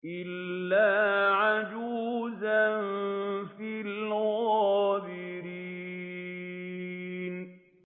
إِلَّا عَجُوزًا فِي الْغَابِرِينَ